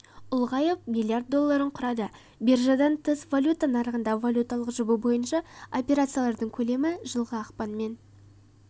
ұлғайып млрд долларын құрады биржадан тыс валюта нарығында валюталық жұбы бойынша операциялардың көлемі жылғы ақпанмен